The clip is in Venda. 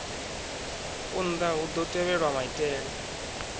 unḓa hu ḓo tevhelwa maitele